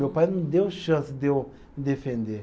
Meu pai não deu chance de eu me defender.